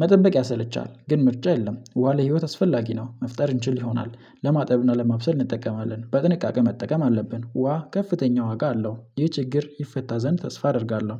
መጠበቅ ያሰለቻል። ግን ምርጫ የለም ዋሌ ህይወት አስፈላጊ ነው መፍጠር እንችል ይሆናል ለማጠብና ለማብሰል እንጠቀማለን። በጥንቃቄ መጠቀም አለብን ውሃ ከፍተኛ ዋጋ አለው ይህ ችግር ይፈታ ዘንድ ተስፋ አደርጋለሁ።